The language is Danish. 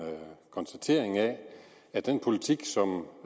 konstatering af at den politik som